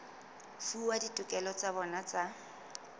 fuwa ditokelo tsa bona tsa